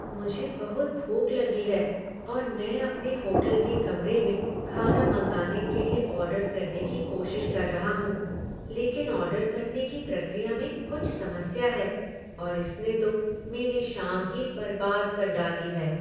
मुझे बहुत भूख लगी है, और मैं अपने होटल के कमरे में खाना मंगाने के लिए ऑर्डर करने की कोशिश कर रहा हूँ, लेकिन ऑर्डर करने की प्रक्रिया में कुछ समस्या है, और इसने तो मेरी शाम ही बर्बाद कर डाली है।